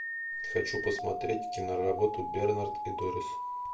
хочу посмотреть киноработу бернард и дорис